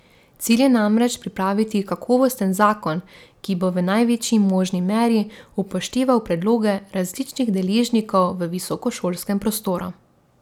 Cilj je namreč pripraviti kakovosten zakon, ki bo v največji možni meri upošteval predloge različnih deležnikov v visokošolskem prostoru.